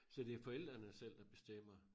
Så det forældrene selv der bestemmer?